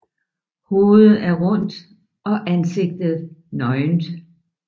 Hovedet er rundt og ansigtet nøgent